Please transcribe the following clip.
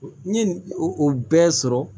N ye o bɛɛ sɔrɔ